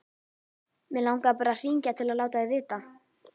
Mig langaði bara að hringja til að láta þig vita.